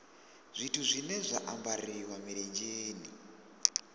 zwithu zwine zwa ambariwa milenzheni